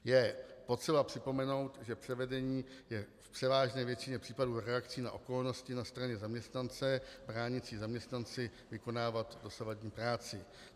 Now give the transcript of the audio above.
Je potřeba připomenout, že převedení je v převážné většině případů reakcí na okolnosti na straně zaměstnance bránící zaměstnanci vykonávat dosavadní práci.